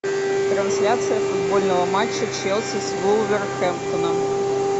трансляция футбольного матча челси с вулверхэмптоном